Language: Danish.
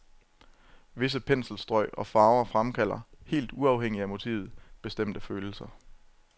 Visse penselstrøg og farver fremkalder, helt uafhængigt af motivet, bestemte følelser.